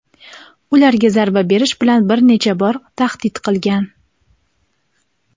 ularga zarba berish bilan bir necha bor tahdid qilgan.